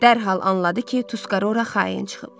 Dərhal anladı ki, Tuskaro ora xain çıxıb.